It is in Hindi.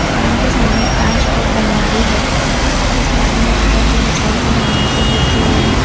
कान के सामने एक कांच की अलमारी है जिसमें विभिन्न प्रकार की मिठाई और नमकीन रखे हुए हैं।